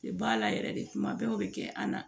Tɛ ba la yɛrɛ de kuma bɛɛ o bɛ kɛ an na